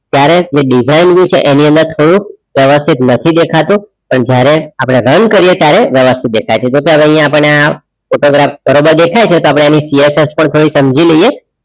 ત્યારે એ design તેમાં થોડુંક વ્યવસ્થિત નથી દેખાતું જ્યારે આપણે run કરીએ ત્યારે વ્યવસ્થિત દેખાય છે તો અહીંયા આપણને આ photograph બરોબર દેખાય છે. તો આપણે એની PSS પણ થોડી સમજી લઈએ.